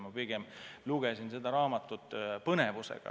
Ma pigem lugesin seda raamatut põnevusega.